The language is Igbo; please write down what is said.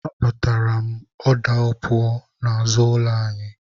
Akpatara m ọda opuo n'azụ ụlọ anyị.